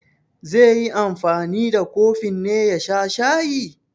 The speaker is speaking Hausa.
Zai yi anfani da kofin ne ya sha shayi?